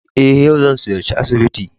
Eh yau zan ziyarci asibiti.